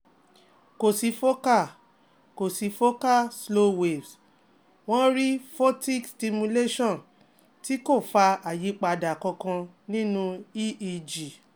ko si focal ko si focal slow waves, won ri Photic stimulation ti ko fa ayipada kankan ninu EEg